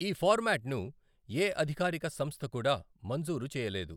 ఈ ఫార్మాట్ను ఏ అధికారిక సంస్థ కూడా మంజూరు చేయలేదు.